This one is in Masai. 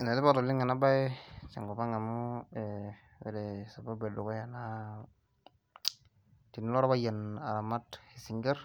Enetipat oleng enaabaye tekop ang amu wore sababu edukuya naa , kelo orpayian aramat isingir